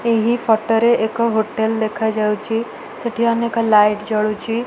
ଏହି ଫଟୋ ରେ ଏକ ହୋଟେଲ ଦେଖା ଯାଉଚି। ସେଠି ଅନେକ ଲାଇଟ ଜଳୁଚି।